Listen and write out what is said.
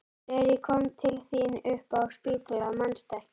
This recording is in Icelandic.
Þegar ég kom til þín upp á spítala, manstu ekki?